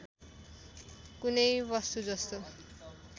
कुनै वस्तु जस्तो